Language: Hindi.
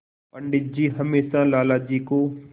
पंडित जी हमेशा लाला जी को